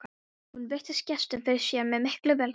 Hún virti gestinn fyrir sér með mikilli velþóknun.